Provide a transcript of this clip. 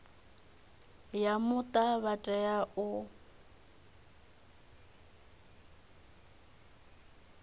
ya muta vha tea u